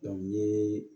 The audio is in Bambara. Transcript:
n ye